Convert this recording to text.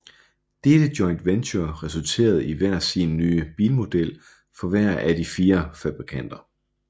Dette joint venture resulterede i hver sin nye bilmodel for hver af de fire fabrikanter